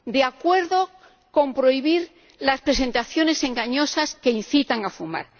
de acuerdo con prohibir las presentaciones engañosas que incitan a fumar